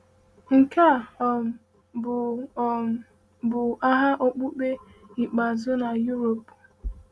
Nke a um bụ um bụ agha okpukpe ikpeazụ n’Europe.